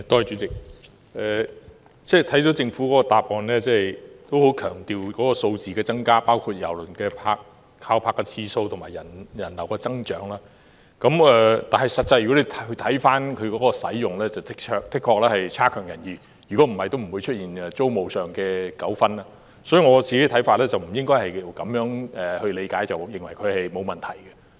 主席，政府的答覆十分強調數字的增加，包括郵輪停泊的次數，以及人流的增長，但看回郵輪碼頭的實際使用情況，的確欠佳，否則也不會出現租務上的糾紛，所以我個人看法是，不應該只看數字上的增長，便認為沒有問題。